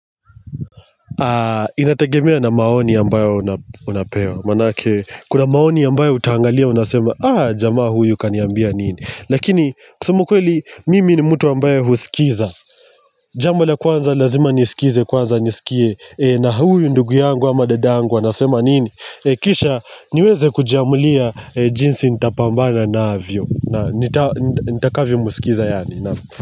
Inategemea na maoni ambayo unapewa maanake kuna maoni ambayo utaangalia unasema, "Ah, jamaa huyu kaniambia nini?" Lakini kusema ukweli mimi ni mtu ambaye husikiza Jambo la kwanza lazima nisikize kwanza nisikie na huyu ndugu yangu ama dada yangu anasema nini? Kisha niweze kujiamulia jinsi nitapambana navyo na nitakyomsikiza yaani, na'am.